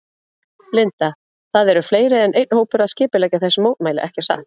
Linda: Það eru fleiri en einn hópur að skipuleggja þessi mótmæli ekki satt?